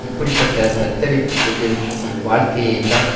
இப்படி பட்ட தத்தளித்து கொண்டிருக்கும் வாழ்க்கையைத்தான்